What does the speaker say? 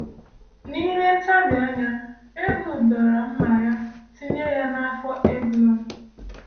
N’ime ntabi anya, Ehud dọrọ mma ya, tinye ya n’afọ Eglon.